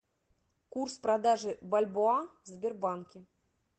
курс продажи бальбоа в сбербанке